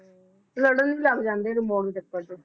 ਲੜਨ ਹੀ ਲੱਗ ਜਾਂਦੇ ਆ remote ਦੇ ਚੱਕਰ ਚ ipl ਦਾ ਇੱਕ ਆਹਾ ਜਿਹੜਾ ਇਹ